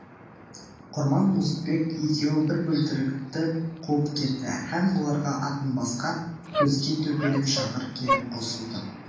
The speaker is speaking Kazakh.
құрман мұздыбек екеуі бір бөлтірікті қуып кетті һәм оларға атын басқа көзге төпелеп шағыр келіп қосылды